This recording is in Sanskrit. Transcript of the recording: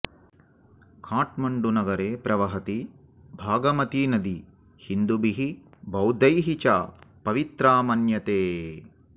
काठ्मण्डुनगरे प्रवहति बागमतिनदी हिन्दुभिः बौद्धैः च पवित्रा मन्यते